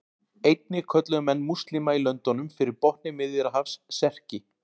Einnig kölluðu menn múslíma í löndunum fyrir botni Miðjarðarhafs Serki.